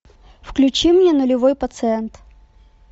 включи мне нулевой пациент